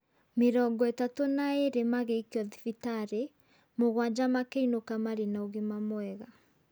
Mĩrongo ĩtatũ na ere magiĩikio thibitarĩ. Mũgwanja makĩinũka marĩ na ũgima mwega.